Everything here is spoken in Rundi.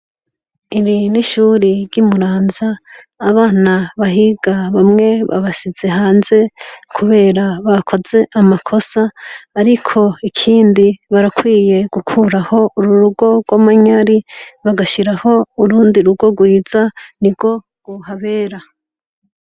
Iri n'ishuri ry'i Muramvya abana bahiga bamwe babasize hanze kubera bakoze amakosa, ariko ikindi barakwiye gukuraho uru rugo rw'amanyari bagashiraho urundi rugo rwiza ni rwo ruhabera.